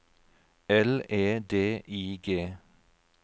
L E D I G